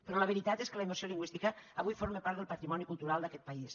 però la veritat és que la immersió lingüística avui forma part del patrimoni cultural d’aquest país